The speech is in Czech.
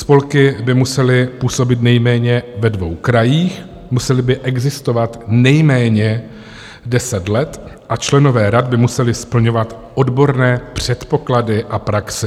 Spolky by musely působit nejméně ve dvou krajích, musely by existovat nejméně deset let a členové rad by museli splňovat odborné předpoklady a praxi.